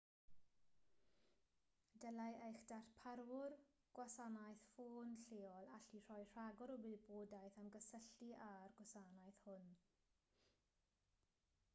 dylai eich darparwr gwasanaeth ffôn lleol allu rhoi rhagor o wybodaeth am gysylltu â'r gwasanaeth hwn